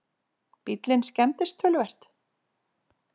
Bíllinn skemmdist töluvert